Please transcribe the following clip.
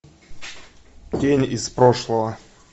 тень из прошлого